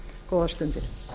góðar stundir